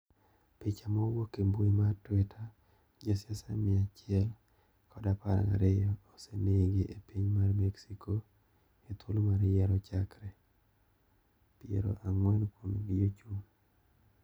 Picha mowuok e mbui mat tweeter josiasa mia achiel kod apar gariyo osenegi e piny mar mexico ethuolo mar yiero chakre ; piero angwen kuomgi jochung.